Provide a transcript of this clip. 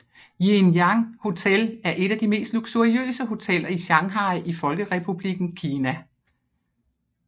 Jinjiang Hotel er et af de mest luksuriøse hoteller i Shanghai i Folkerepublikken Kina